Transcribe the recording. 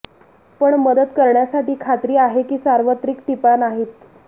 पण मदत करण्यासाठी खात्री आहे की सार्वत्रिक टिपा नाहीत